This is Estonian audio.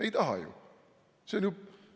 Ei taha ju?